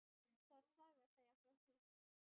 Það er saga að segja frá því.